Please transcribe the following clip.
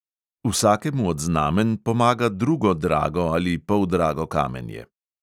Vsakemu od znamenj pomaga drugo drago in poldrago kamenje.